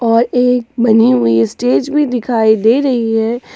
और एक बनी हुई स्टेज भी दिखाई दे रही है।